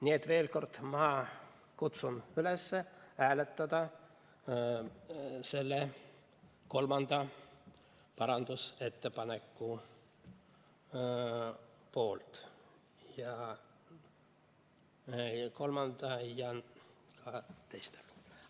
Nii et veel kord: ma kutsun üles hääletama selle kolmanda parandusettepaneku poolt, õigemini kolmanda ja ka teiste poolt.